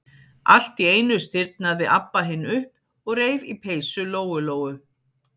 Allt í einu stirðnaði Abba hin upp og reif í peysu Lóu-Lóu.